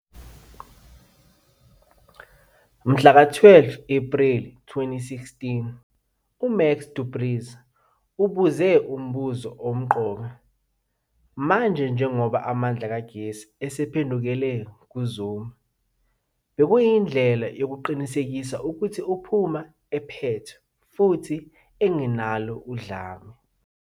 Ngo-12 Ephreli 2016, uMax du Preez uthe umbuzo osemqoka, "manje njengoba amandla kagesi esephendukele kuZuma", bekuyindlela yokuqinisekisa ukuthi uphuma ephethwe - futhi engenabo udlame.